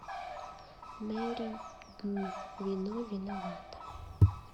мэри гу вино виновато